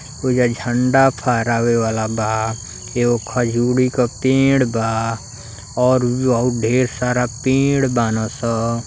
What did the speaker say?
ओहिजा झंडा फहरावे वाला बा। एगो खजुरी क पेड़ बा और ढेर सारा पेड़ बाने सब।